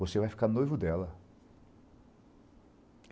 Você vai ficar noivo dela.